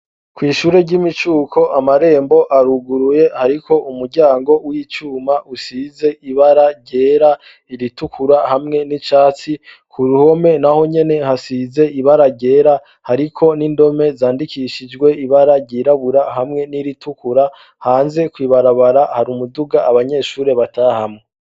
Kwishure ry'imicuko amarembo aruguruye ariko umuryango w'icuma usize ibara gera iritukura hamwe n'icatsi ku ruhome naho nyene hasize ibara gera ariko n'indome zandikishijwe ibara ryirabura hamwe n'iritukura hanze kuibarabara hari umuduga abanyeshuri batahamwa.